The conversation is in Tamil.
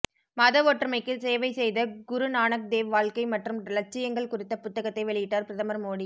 மத ஒற்றுமைக்கு சேவை செய்த குரு நானக் தேவ் வாழ்க்கை மற்றும் இலட்சியங்கள் குறித்த புத்தகத்தை வெளியிட்டார் பிரதமர் மோடி